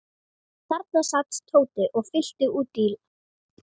Hún ætlaði ekki að launa þeim ruddaskapinn með hjálpsemi.